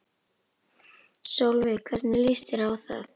Sólveig: Hvernig líst þér á það?